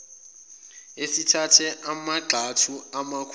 sesithathe amagxathu amakhulu